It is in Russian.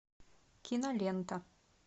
кинолента